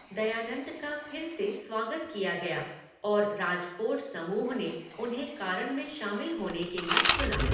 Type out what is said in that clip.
दयानंद का फिर से स्वागत किया गया और राजकोट समूह ने उन्हें कारण में शामिल होने के लिए चुना।